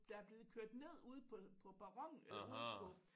Der er blevet kørt ned ude på på perronen eller ude på